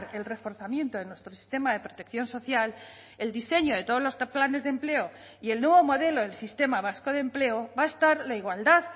el reforzamiento de nuestro sistema de protección social el diseño de todos los planes de empleo y el nuevo modelo del sistema vasco de empleo va a estar la igualdad